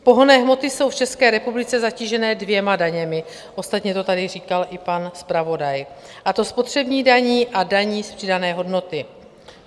Pohonné hmoty jsou v České republice zatížené dvěma daněmi - ostatně to tady říkal i pan zpravodaj - a to spotřební daní a daní z přidané hodnoty.